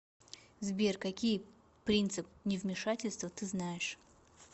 сбер какие принцип невмешательства ты знаешь